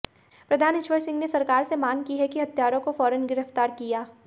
प्रधान ईश्वर सिंह ने सरकार से मांग की है कि हत्यारों को फौरन गिरफ्तार किया